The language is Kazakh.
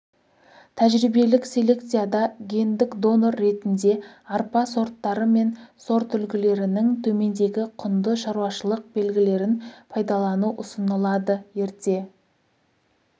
тәжірибелік селекцияда гендік донор ретінде арпа сорттары мен сортүлгілерінің төмендегі құнды шаруашылық белгілерін пайдалану ұсынылады ерте